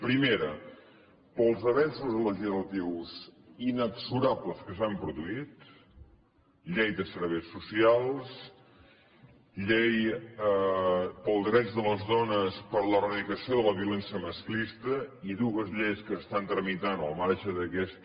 primera pels avenços legislatius inexorables que s’han produït llei de serveis socials llei dels drets de les dones per a l’eradicació de la violència masclista i dues lleis que s’estan tramitant al marge d’aquesta